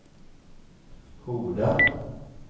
Horda